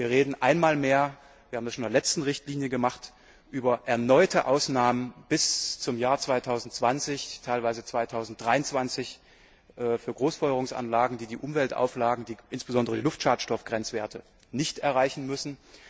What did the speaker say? Wir reden einmal mehr wir haben das schon bei der letzten Richtlinie gemacht über erneute Ausnahmen bis zum Jahr 2020, teilweise 2023 für Großfeuerungsanlagen, die die Umweltauflagen, insbesondere die Luftschadstoffgrenzwerte nicht erreichen müssen.